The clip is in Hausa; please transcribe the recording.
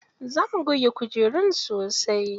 Za mu goge kujerun sosai.